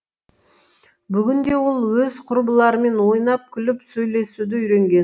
бүгінде ол өз құрбыларымен ойнап күліп сөйлесуді үйренген